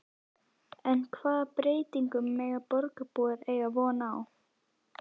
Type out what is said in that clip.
En hvaða breytingum mega borgarbúar eiga von á?